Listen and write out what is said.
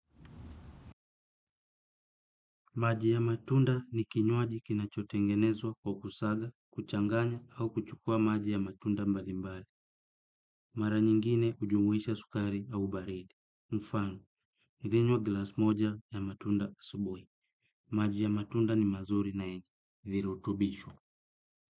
Maji ya matunda ni kinywaji kinachotengenezwa kwa kusaga, kuchanganya au kuchukua maji ya matunda mbalimbali. Mara nyingine hujumuisha sukari au baridi. Mfano, nilinywa glasi moja ya matunda asubuhi. Maji ya matunda ni mzuri na yenye virutubisho.